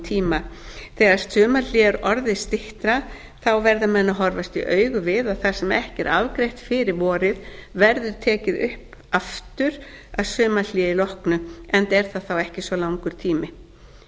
tíma þegar sumarhlé er orðið styttra verða menn að horfast í augu við að það sem ekki er afgreitt fyrir vorið verði tekið upp aftur að sumarhléi loknu enda er það þá ekki svo langur tími það er